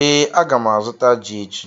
Ee, a ga m azụta ji echi